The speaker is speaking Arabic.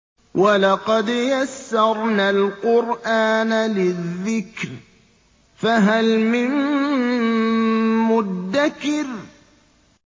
وَلَقَدْ يَسَّرْنَا الْقُرْآنَ لِلذِّكْرِ فَهَلْ مِن مُّدَّكِرٍ